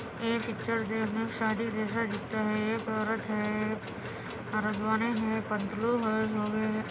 ये पिक्चर जो है शादी जैसे दिखता हैं। एक औरत हैं --